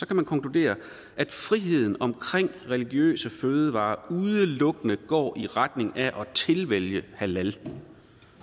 kan man konkludere at friheden omkring religiøse fødevarer udelukkende går i retning af at tilvælge halal